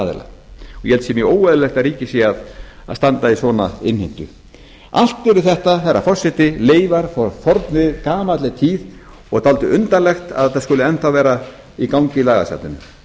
aðila ég held að það sé mjög óeðlilegt að ríkið sé að standa í svona innheimtu allt eru þetta herra forseti leifar frá fornri gamalli tíð og dálítið undarlegt að þetta skuli enn þá vera í gangi í lagasafninu